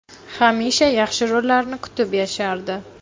Hamisha yaxshi rollarni kutib yashardi.